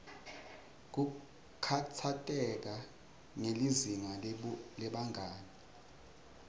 kukhatsateka ngelizinga lebangani